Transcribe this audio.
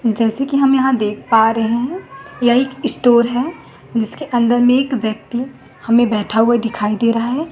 जैसे कि हम यहाँ देख पा रहे है यह एक स्टोर है जिसके अंदर में एक व्यक्ति हमें बैठा हुआ दिखाई दे रहा है।